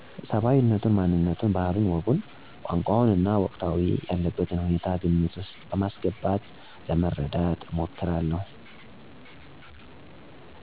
ሰባዊነቱን፣ ማንነቱን፣ ባህሉን፣ ወጉን፣ ቋንቋውንና ወቅታዊ ያለበትን ሁኔታ ግምት ውስጥ በማስገባት ለመረዳት እሞክራለሁ።